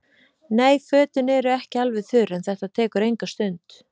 Nei, fötin eru ekki alveg þurr en þetta tekur enga stund.